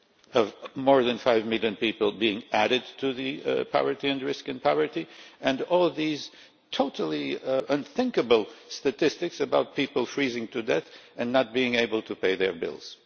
of more than 5 million people being added to the ranks of those at risk in poverty and all these totally unthinkable statistics about people freezing to death and not being able to pay their bills?